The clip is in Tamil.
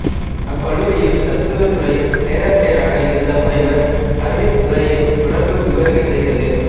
அக்கல்லூரியில் தத்துவத்துறைப் பேராசிரியராக இருந்த முனைவர் ஹார்வித் துரையின் தொடர்பு இவருக்குக் கிடைத்தது